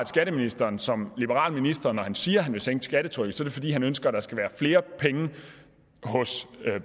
skatteministeren som liberal minister siger at han vil sænke skattetrykket så er det fordi han ønsker at der skal være flere penge hos